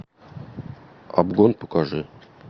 обгон покажи